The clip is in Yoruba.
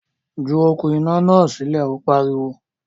Ju “okùn iná” náà sílẹ̀! Ó pariwo.